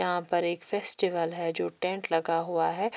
यहां पर एक फेस्टिवल है जो टेंट लगा हुआ है।